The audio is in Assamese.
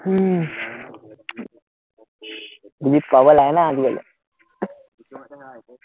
উহ বুজি পাব লাগে না আজিকালি,